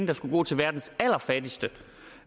der skulle gå til verdens allerfattigste